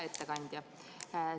Hea ettekandja!